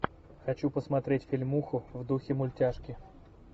хочу посмотреть фильмуху в духе мультяшки